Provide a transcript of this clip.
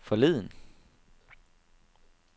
forleden